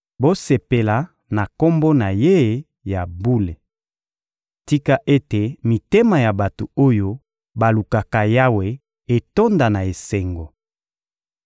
Bosepela na Kombo na Ye ya bule! Tika ete mitema ya bato oyo balukaka Yawe etonda na esengo!